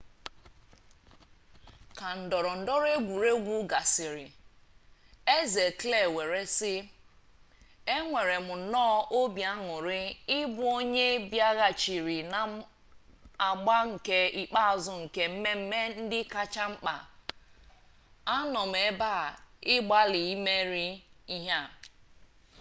ka ndọrọ ndọrọ egwuregwu gasịrị eze kle were sị enwerem nnọọ obi añurị ịbụ onye bịaghachiri na agba nke ikpeazụ nke mmemme ndị kacha mkpa a nọ m ebe a ịgbalị imeri ihe a